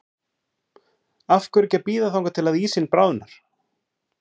Af hverju ekki að bíða þangað til að ísinn bráðnar?